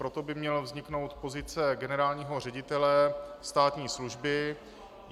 Proto by měla vzniknout pozice generálního ředitele státní služby.